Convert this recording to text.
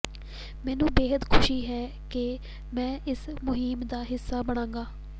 ਮੈਨੂੰ ਬੇਹੱਦ ਖੁਸ਼ੀ ਹੈ ਕਿ ਮੈਂ ਇਸ ਮੁਹਿੰਮ ਦਾ ਹਿੱਸਾ ਬਣਾਂਗਾ